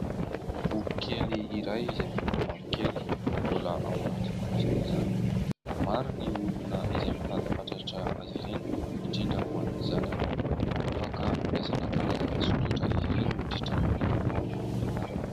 Boky kely iray izay miloko mavokely mbola ao anaty fonosana izy izany. Maro ny olona izay mitady fatratra azy ireny indrindra ho an'ny zanany. Afaka andraisana karazana soratra izy ireny mandritra ny taona fianarana.